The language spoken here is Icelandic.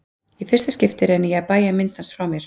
Í fyrsta skipti reyni ég að bægja mynd hans frá mér.